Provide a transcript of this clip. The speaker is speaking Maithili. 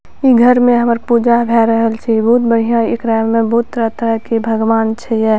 इ घर में हमर पूजा भाय रहल छै बहुत बढ़िया एकरा में बहुत तरह-तरह के भगवान छै या।